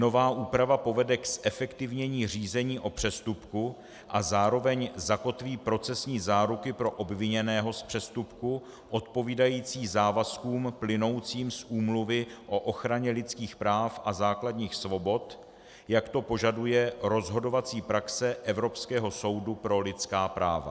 Nová úprava povede k zefektivnění řízení o přestupku a zároveň zakotví procesní záruky pro obviněného z přestupku odpovídající závazkům plynoucím z Úmluvy o ochraně dětských práv a základních svobod, jak to požaduje rozhodovací praxe Evropského soudu pro lidská práva.